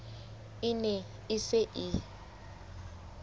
e ne e se e